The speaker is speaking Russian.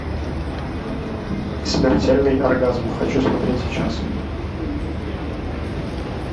смертельный оргазм хочу смотреть сейчас